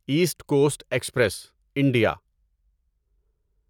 asset Coast Express India